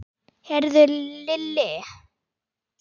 Heyrðu Lilli.